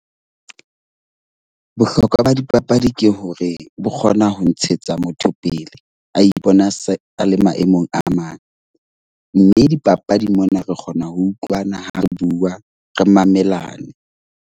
Bohlokwa ba dipapadi ke hore bo kgona ho ntshetsa motho pele a ipona se a le maemong a mang. Mme dipapadi mona re kgona ho utlwana ha re bua, re mamelane.